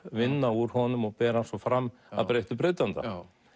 vinna úr honum og bera hann svo fram að breyttu breytanda